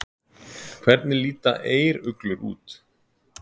Hvernig líta eyruglur út?